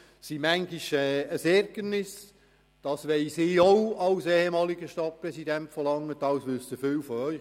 Diese sind manchmal ein Ärgernis, das weiss ich als ehemaliger Stadtpräsident von Langenthal, und viele von Ihnen wissen das auch.